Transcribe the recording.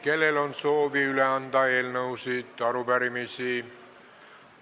Kellel on soovi üle anda eelnõusid või arupärimisi?